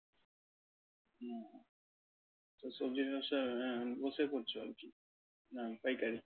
তো সবজির ব্যবসা আহ বসে করছো আরকি না পাইকারি?